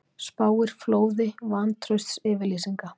Spáir flóði vantraustsyfirlýsinga